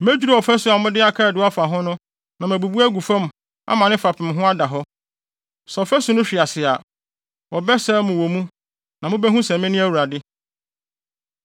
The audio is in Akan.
Medwiriw ɔfasu a mode akaadoo afa ho no na mabubu agu fam ama ne fapem ho ada hɔ. Sɛ ɔfasu no hwe ase a, wɔbɛsɛe mo wɔ mu, na mubehu sɛ mene Awurade.